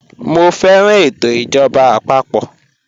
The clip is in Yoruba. Mọ fẹran ètò ijọba àpapọ̀.